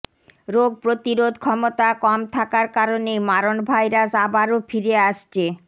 রোগ প্রতিরোধ ক্ষমতা কম থাকার কারণেই মারণ ভাইরাস আবারও ফিরে আসছে